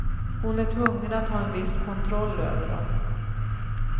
Hon är tvungen att ha en viss kontroll över dem.